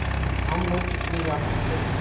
हम लोग कितने व्याकुल थे